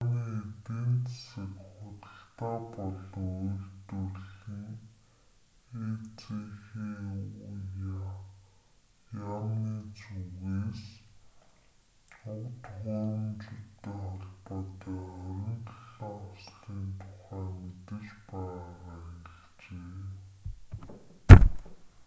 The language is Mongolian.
японы эдийн засаг худалдаа болон үйлдвэрлэлийн эзхүя яамны зүгээс уг төхөөрөмжүүдтэй холбоотой 27 ослын тухай мэдэж байгаагаа хэлжээ